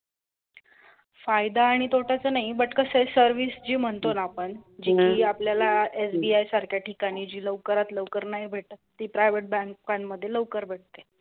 फायदा आणि तोटा च नाही but कसं आहे service जी म्हणतो ना आपण जी आपल्याला SBI सारख्या ठिकाणी जी लवकरात लवकर नाही भेटत ती private बँकांमध्ये लवकर भेटते.